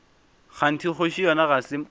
kganthe kgoši yona ga se